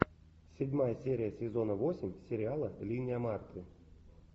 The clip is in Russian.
седьмая серия сезона восемь сериала линия марты